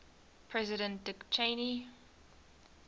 president dick cheney